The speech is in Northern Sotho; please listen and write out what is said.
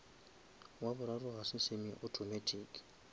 wa boraro ga se semi automatic